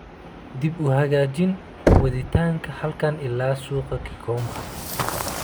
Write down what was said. dib u hagaajin waditaanka halkan ilaa suuqa gigomba